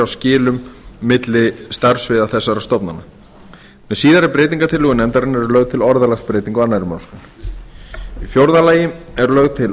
skilum á milli starfssviða þessara stofnana með síðari breytingartillögu nefndarinnar er lögð til orðalagsbreyting á annarri málsgrein í fjórða lagi er lögð til